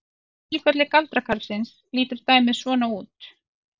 Í tilfelli galdrakarlsins lítur dæmið svona út: